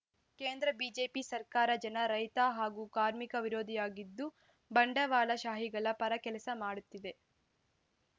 ಕೇಂದ್ರ ಬಿಜೆಪಿ ಸರ್ಕಾರ ಜನ ರೈತ ಹಾಗೂ ಕಾರ್ಮಿಕ ವಿರೋಧಿಯಾಗಿದ್ದು ಬಂಡವಾಳಶಾಹಿಗಳ ಪರ ಕೆಲಸ ಮಾಡುತ್ತಿದೆ